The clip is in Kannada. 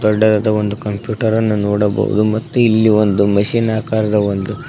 ದೊಡ್ಡದಾದ ಒಂದು ಕಂಪ್ಯೂಟ್ ನೋಡಬಹುದು ಮತ್ತು ಇಲ್ಲಿ ಒಂದು ಮಷಿನ್ ಆಕಾರದ ಒಂದು--